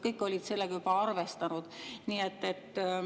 Kõik olid selle juba arvestanud.